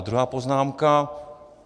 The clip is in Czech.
A druhá poznámka.